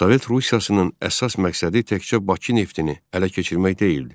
Sovet Rusiyasının əsas məqsədi təkcə Bakı neftini ələ keçirmək deyildi.